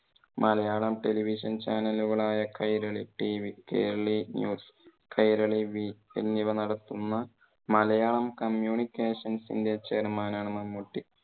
Malayalam televisionchannel കളായ Kairali tv, Kairali news, Kairali we എന്നിവ നടത്തുന്ന മലയാളം communications ന്റെ chairman ആണ് മമ്മൂട്ടി.